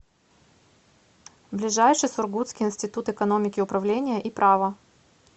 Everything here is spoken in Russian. ближайший сургутский институт экономики управления и права